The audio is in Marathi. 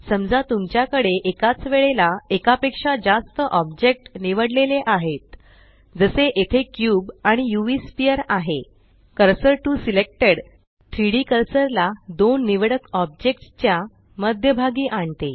समजा तुमच्याकडे एकाच वेळेला एका पेक्षा जास्त ऑब्जेक्ट निवडलेले आहेत जसे येथे क्यूब आणि UVस्फियर आहे कर्सर टीओ सिलेक्टेड 3डी कर्सर ला दोन निवडक ऑब्जेक्ट्स च्या मध्यभागी आणते